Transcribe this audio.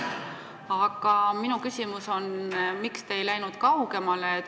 Aga minu küsimus on, miks te ei läinud kaugemale.